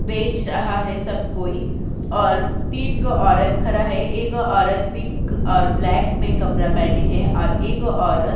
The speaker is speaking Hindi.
बेच रहा है| सब कोई और तीन गो औरत खरा है एगो औरत पिंक और ब्लैक में कपरा पहनी है और एगो औरत --